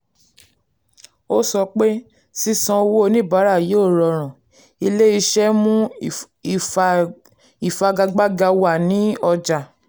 ó sọ pé: sísan owó oníbàárà yóò rọrùn ilé iṣẹ́ mú ìfagagbága wà ní ọjà.